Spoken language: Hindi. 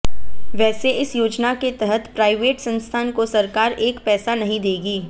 वैसे इस योजना के तहत प्राइवेट संस्थान को सरकार एक पैसा नहीं देगी